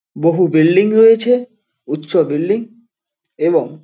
বহু বিল্ডিং রয়েছে উচ্চ বিল্ডিং এবং --